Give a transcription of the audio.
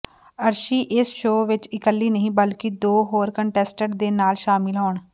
ਅਰਸ਼ੀ ਇਸ ਸ਼ੋਅ ਵਿੱਚ ਇਕੱਲੀ ਨਹੀਂ ਬਲਕਿ ਦੋ ਹੋਰ ਕੰਟੈਸਟੈਂਟ ਦੇ ਨਾਲ ਸ਼ਾਮਿਲ ਹੋਣ